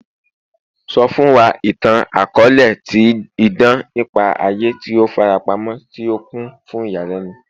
Sọ fun wa itan itan-akọọlẹ ti idan nipa aye ti o farapamọ ti o kun fun iyalẹnu